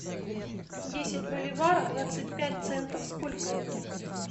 десять боливаров двадцать пять центов сколько это